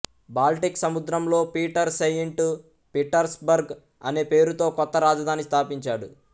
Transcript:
Baltic సముద్రంలో Peter Saint Petersburg అనే పేరుతో కొత్త రాజధాని స్థాపించాడు